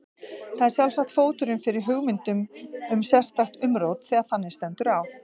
Það er sjálfsagt fóturinn fyrir hugmyndum um sérstakt umrót þegar þannig stendur á.